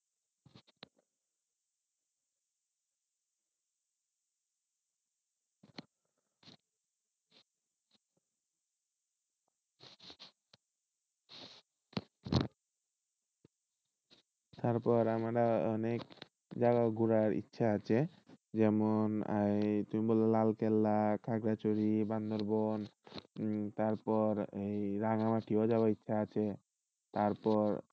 তারপর আমার অনেক জায়গা ঘুরার ইচ্ছা আছে যেমন এই তুমি বললা লালকেল্লা, খাগড়াছড়ি, বান্দরবান উম তারপর রাঙ্গামাটি ও যাওয়ার ইচ্ছা আছে তারপর,